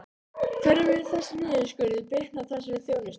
Hvernig mun þessi niðurskurður bitna á þessari þjónustu?